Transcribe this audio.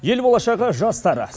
ел болашағы жастар